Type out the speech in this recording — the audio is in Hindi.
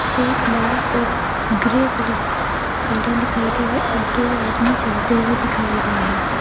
फिट लाल और ग्रे कलर की गाड़ियां दिखाई गई हैं और दो आदमी चलते हुए दिखाई गए हैं|